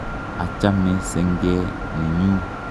Achame senge ne nyu.